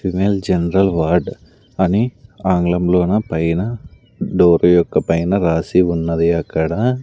female general ward అని ఆంగ్లంలోన పైన డోర్ యొక్క పైన రాసి ఉన్నది అక్కడ--